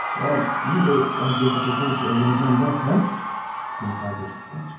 Əgər yenə də mən Pyotr Petroviçlə evlənəcəyəm desən səni qardaşlıqdan çıxararam.